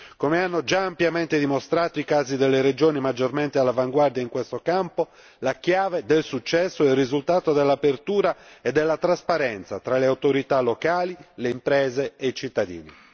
Come hanno già ampiamente dimostrato i casi delle regioni maggiormente all'avanguardia in questo campo, la chiave del successo è il risultato dell'apertura e della trasparenza tra le autorità locali, le imprese e i cittadini.